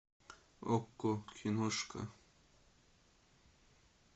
окко киношка